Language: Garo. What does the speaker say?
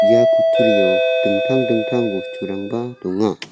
ia kutturio dingtang dingtang bosturangba donga.